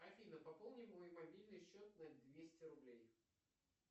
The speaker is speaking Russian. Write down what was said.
афина пополни мой мобильный счет на двести рублей